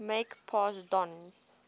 make pass don